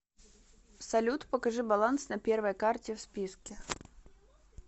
салют покажи баланс на первой карте в списке